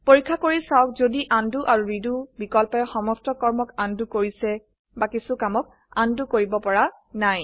পৰীক্ষা কৰি চাওক যদি উণ্ড আৰু ৰেডো বিকল্পয়ে সমস্ত কৰ্মক উণ্ড কৰিছে বা কিছু কামক উণ্ড কৰিব পৰা নাই